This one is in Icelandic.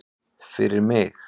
Fyrir mig?